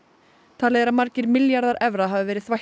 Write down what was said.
talið er að margir milljarðar evra hafi verið